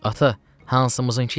Ata, hansımızınkı yaxşıdır?